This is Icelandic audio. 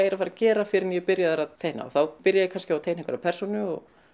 er að fara gera fyrr en ég er byrjaður að teikna þá byrja ég kannski að teikna einhverja persónu